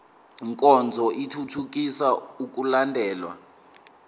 nkonzo ithuthukisa ukulandelwa